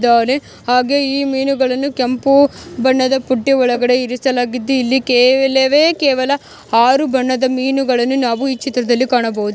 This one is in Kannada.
ದವಣೆ ಹಾಗೆ ಈ ಮೀನುಗಳನ್ನು ಕೆಂಪು ಬಣ್ಣದ ಬುಟ್ಟಿ ಹೊಳಗಡೆ ಇರಿಸಲಾಗಿದ್ದು ಇಲ್ಲಿ ಕೆಲವೆ ಕೇವಲ ಆರು ಬಣ್ಣದ ಮೀನುಗಳನ್ನು ನಾವು ಈ ಚಿತ್ರದಲ್ಲಿ ಕಾಣಬಹುದು.